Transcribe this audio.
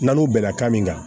N'a n'o bɛnna ka min kan